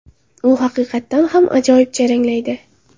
U haqiqatdan ham ajoyib jaranglaydi.